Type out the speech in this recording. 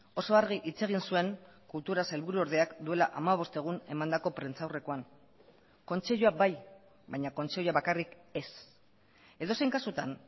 oso argi hitz egin zuen kultura sailburuordeak duela hamabost egun emandako prentsaurrekoan kontseilua bai baina kontseilua bakarrik ez edozein kasutan